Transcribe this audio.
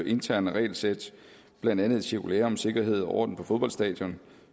interne regelsæt blandt andet et cirkulære om sikkerhed og orden på fodboldstadion